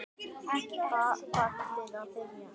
Ballið að byrja.